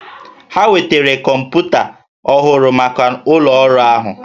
Ha wetara kọmpụta ọhụrụ maka ụlọ ọrụ ahụ